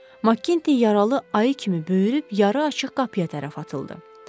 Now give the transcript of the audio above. Makkinti yaralı ayı kimi böyürüb yarı açıq qapıya tərəf atıldı.